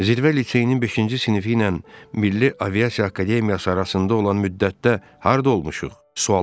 Zirvə litseyinin beşinci sinifi ilə Milli Aviasiya Akademiyası arasında olan müddətdə harda olmuşuq?